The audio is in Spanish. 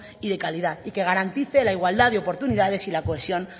y de calidad y que garantice la igualdad de oportunidades y la cohesión